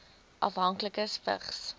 afhanklikes vigs